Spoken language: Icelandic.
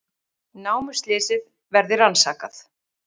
Námuslysið verði rannsakað